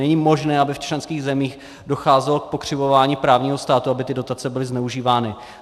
Není možné, aby v členských zemích docházelo k pokřivování právního státu, aby ty dotace byly zneužívány.